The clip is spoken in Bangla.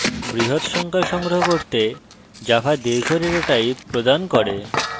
বৃহৎ সংখ্যা সংগ্রহ করতে java দীর্ঘ ডেটা type প্রদান করে